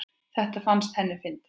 Þetta fannst henni fyndið.